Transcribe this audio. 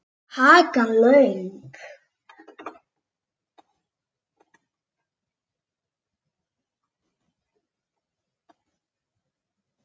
Hakan löng.